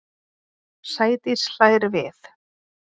Sædís hlær við.